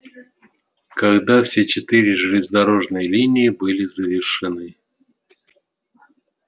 когда все четыре железнодорожные линии были завершены